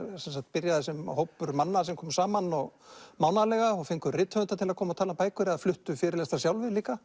byrjaði sem hópur manna sem kom saman mánaðarlega og fengu rithöfunda til að koma og tala um bækur eða fluttu fyrirlestra sjálfir líka